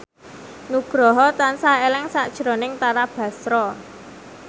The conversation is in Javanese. Nugroho tansah eling sakjroning Tara Basro